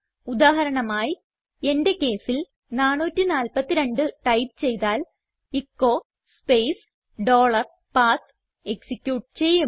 ഉദാഹരണമായി എന്റെ കേസിൽ 442ടൈപ്പ് ചെയ്താൽ എച്ചോ സ്പേസ് ഡോളർ പത്ത് എക്സിക്യൂട്ട് ചെയ്യും